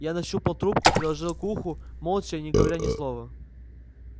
я нащупал трубку приложил к уху молча не говоря ни слова